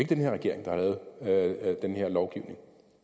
den her regering der har lavet den her lovgivning